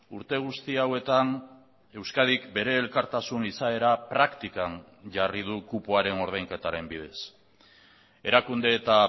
urte guzti hauetan euskadik bere elkartasun izaera praktikan jarri du kupoaren ordainketaren bidez erakunde eta